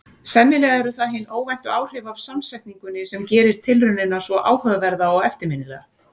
Sennilega eru það hin óvæntu áhrif af samsetningunni sem gerir tilraunina svo áhugaverða og eftirminnilega.